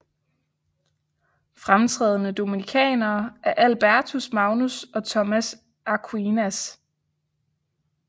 Fremtrædende dominikanere er Albertus Magnus og Thomas Aquinas